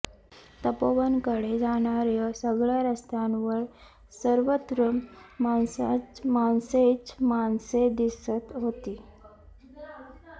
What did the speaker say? तपोवनकडे जाणार्या सगळ्या रस्त्यांवर सर्वत्र माणसेच माणसे दिसत होती